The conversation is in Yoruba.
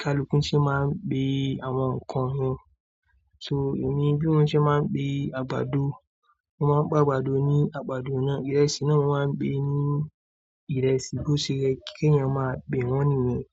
Kaluku ṣe máa ń pè àwọn nǹkan wọn. So èmi bí wọ́n ṣe máa ń pè àgbàdo, mo máa ń pè àgbàdo ní àgbàdo náà. Ìrẹsì náà mo máa ń pè ní ìrẹsì bó ṣe yẹ kí èèyàn máa pè wọ́n nìyẹn.